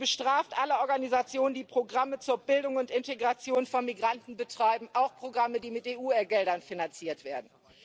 Sie bestraft alle Organisationen, die Programme zur Bildung und Integration von Migranten betreiben, auch Programme, die mit EU Geldern finanziert werden.